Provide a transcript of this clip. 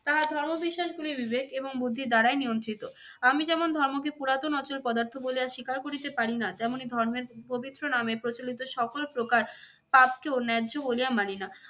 তাহার ধর্ম বিশ্বাসগুলি বিবেক এবং বুদ্ধের দ্বারাই নিয়ন্ত্রিত। আমি যেমন ধর্মকে পুরাতন অচল পদার্থ পদার্থ বলিয়া স্বীকার করিতে পারি না তেমনি ধর্মের পবিত্র নামে প্রচলিত সকল প্রকার পাপ কেও ন্যায্য বলিয়া মানি না।